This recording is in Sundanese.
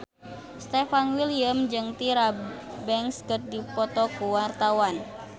Stefan William jeung Tyra Banks keur dipoto ku wartawan